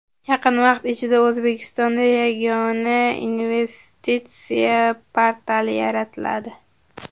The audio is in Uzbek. Yaqin vaqt ichida O‘zbekistonda Yagona investitsiya portali yaratiladi.